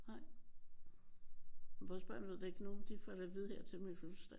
Nej. Vores børn ved det ikke endnu. De får det at vide her til min fødselsdag